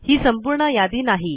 ही संपूर्ण यादी नाही